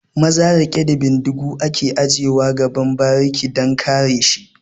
Maza riƙe da bindigu ake aje wa a gaban bariki dan kare shi